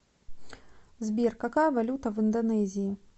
сбер какая валюта в индонезии